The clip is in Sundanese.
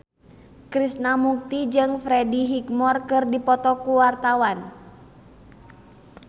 Krishna Mukti jeung Freddie Highmore keur dipoto ku wartawan